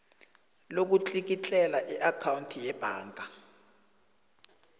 lokutlikitlela iakhawundi yebhaga